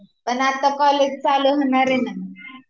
पण आता कॉलेज चालु होणार आहेना